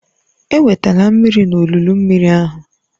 Ewetela mmiri n'olulu mmiri ahụ